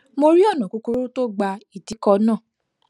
mo rí ònà kúkúrú tó gba ìdíkọ náà